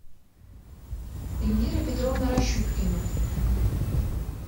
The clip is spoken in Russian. эльвира петровна ращупкина